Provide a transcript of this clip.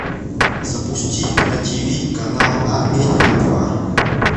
запусти на тиви канал амедиа два